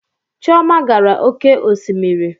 Chioma gara oke osimiri